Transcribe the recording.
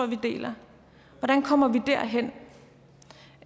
vi deler hvordan kommer vi derhen